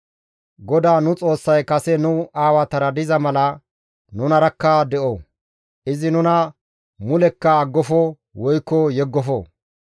GODAA nu Xoossay kase nu aawatara diza mala nunarakka de7o; izi nuna mulekka aggofo woykko yeggofo.